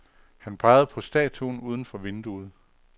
Han pegede på statuen uden for vinduet.